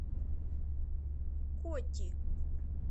коти